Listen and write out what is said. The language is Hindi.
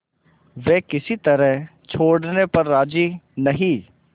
वे किसी तरह छोड़ने पर राजी नहीं